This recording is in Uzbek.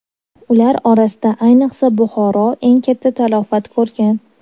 Ular orasida ayniqsa Buxoro eng katta talafot ko‘rgan.